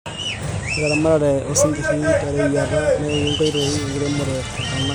Ore eramatare osingir toreyiata naenkoitoi enkiremore etenakata.